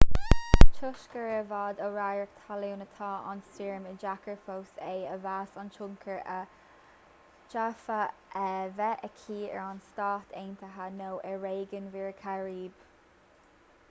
toisc gur i bhfad ó radharc talún atá an stoirm is deacair fós é a mheas an tionchar a d'fhéadfadh a bheith aici ar na stáit aontaithe nó ar réigiún mhuir chairib